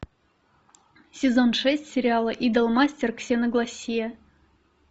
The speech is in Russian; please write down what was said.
сезон шесть сериала идолмастер ксеноглоссия